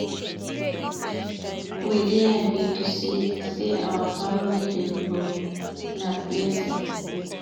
We dey happy to see sey our family dey grow, na blessing.